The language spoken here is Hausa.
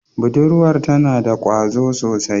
Budurwar tana da kwazo sosai.